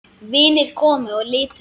Vinir komu og litu inn.